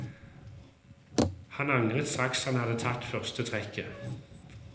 Han angret straks han hadde tatt første trekket.